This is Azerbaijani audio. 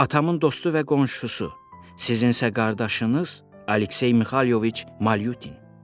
Atamın dostu və qonşusu, sizin isə qardaşınız Aleksey Mixayloviç Malyutin.